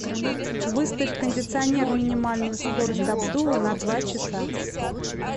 выставь кондиционер минимальную скорость обдува на два часа